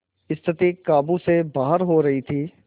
स्थिति काबू से बाहर हो रही थी